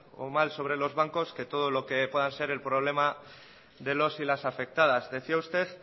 o mal sobre los bancos que todo lo que pueda ser el problema de los y las afectadas decía usted